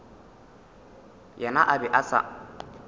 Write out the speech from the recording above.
yena a be a sa